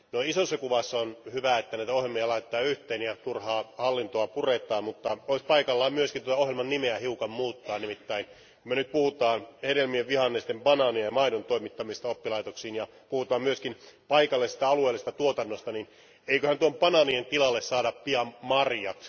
Isossa kuvassa on hyvä, että näitä ohjelmia laitetaan yhteen ja turhaa hallintoa puretaan, mutta olisi paikallaan myös ohjelman nimeä hiukan muuttaa. Nimittäin kun me nyt puhumme hedelmien, vihannesten, banaanien ja maidon toimittamisesta oppilaitoksiin ja kun puhutaan myöskin paikallisesta, alueellisesta tuotannosta, niin eiköhän tuohon banaanien tilalle saada pian marjat.